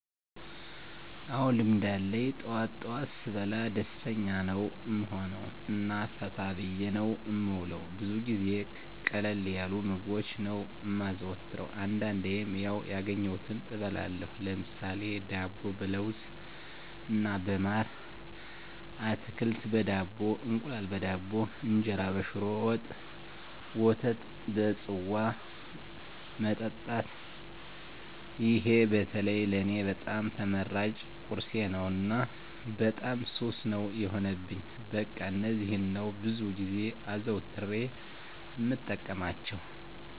አዎ ልምድ አለኝ ጠዋት ጠዋት ስበላ ደስተኛ ነዉ እምሆነዉ እና ፈታ ብየ ነዉ እምዉለዉ። ብዙ ጊዜ ቀለል ያሉ ምግቦችን ነዉ እማዘወትር አንዳንዴም ያዉ ያገኘዉትን እበላለሁ ለምሳሌ፦ ዳቦ በለዉዝ እና በማር፣ አትክልት በዳቦ፣ እንቁላል በዳቦ፣ እንጀራ በሽሮ ወጥ፣ ወተት በፅዋ መጠጣት ይሄ በተለይ ለኔ በጣም ተመራጭ ቁርሴ ነዉ እና በጣም ሱስ ነዉ የሆነብኝ በቃ እነዚህን ነዉ ብዙ ጊዜ አዘዉትሬ እምጠቀማቸዉ።